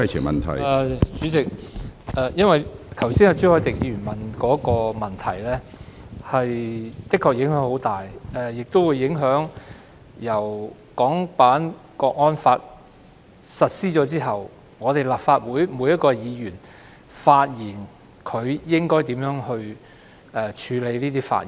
主席，朱凱廸議員剛才提出的問題確實影響很大，包括影響到自《港區國安法》實施後立法會議員應如何處理各自的發言。